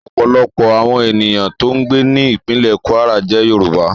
Ọ̀pọ̀lọpọ̀ àwọn ènìyàn tó ń gbé ní ìpínlè Kwara jẹ́ Yorùbá